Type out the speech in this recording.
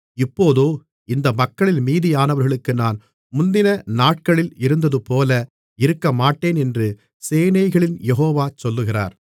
இப்போதோ இந்த மக்களில் மீதியானவர்களுக்கு நான் முந்தின நாட்களில் இருந்ததுபோல இருக்கமாட்டேன் என்று சேனைகளின் யெகோவா சொல்லுகிறார்